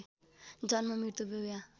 जन्म मृत्यु विवाह